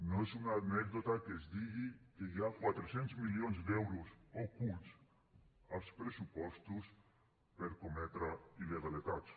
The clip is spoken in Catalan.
no és una anècdota que es digui que hi ha quatre cents milions d’euros ocults als pressupostos per cometre il·legalitats